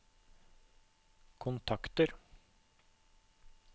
kontakter